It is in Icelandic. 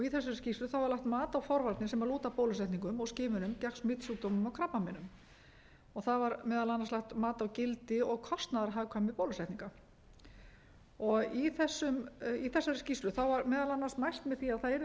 í þessari skýrslu var lagt mat á forvarnir sem lúta að bólusetningum og skimunum gegn smitsjúkdómum og krabbameinum var þar meðal annars lagt mat á gildi og kostnaðarhagkvæmni bólusetninga í þessari skýrslu var meðal annars mælt með því að það yrði